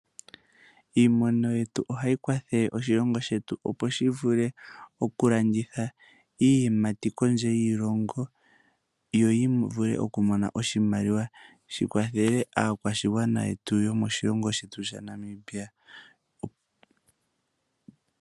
Iimono yetu ohayi kwathele oshilongo shetu opo shi vule okulanditha iiyimati kondje yiilongo yo vule okumona oshimaliwa shi kwathela aakwashigwana yomoshilongo shetu shaNamibia.